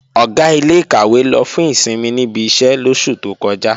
Ọ̀gá ilé-ìkàwé lọ fún ìsinmi níbi iṣẹ́ lóṣù tó kọjá